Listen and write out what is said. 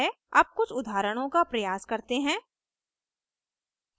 अब कुछ उदाहरणों का प्रयास करते हैं